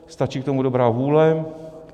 Stačí k tomu dobrá vůle.